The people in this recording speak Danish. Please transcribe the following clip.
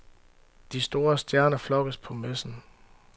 De store stjerner flokkes på messen.